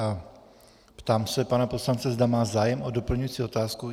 A ptám se pana poslance, zda má zájem o doplňující otázku.